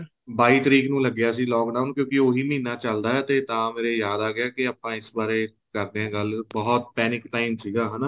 ਬਾਈ ਤਰੀਕ ਨੂੰ ਲੱਗਿਆ ਸੀ lock down ਕਿਉਂਕਿ ਉਹੀ ਮਹੀਨਾ ਚੱਲਦਾ ਹੈ ਤੇ ਤਾਂ ਮੇਰੇ ਯਾਦ ਆ ਗਿਆ ਆਪਾਂ ਇਸ ਬਾਰੇ ਕਰਦੇ ਆ ਗੱਲ ਬਹੁਤ panic time ਸੀਗਾ ਇਹ